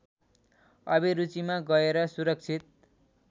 अभिरुचिमा गएर सुरक्षित